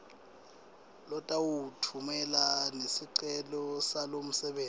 lotawutfumela nesicelo salomsebenti